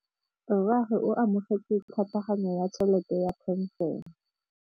Rragwe o amogetse tlhatlhaganyô ya tšhelête ya phenšene.